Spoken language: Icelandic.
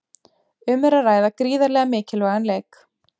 Um er að ræða gríðarlega mikilvægan leik.